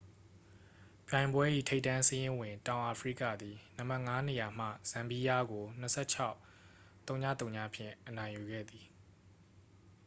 ပြိုင်ပွဲ၏ ထိပ်တန်းစာရင်းဝင် တောင်အာဖရိကသည် နံပါတ် 5 နေရာမှ ဇမ်ဘီယားကို 26-ဝဝ အနိုင်ဖြင့် ရယူခဲ့သည်